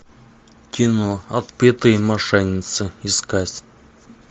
кино отпетые мошенницы искать